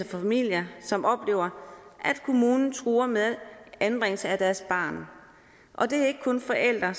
familier som oplever at deres kommune truer med en anbringelse af deres barn og det er ikke kun forældre